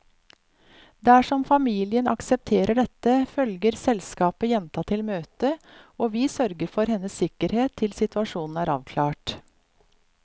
Dersom familien aksepterer dette, følger selskapet jenta til møtet, og vi sørger for hennes sikkerhet til situasjonen er avklart.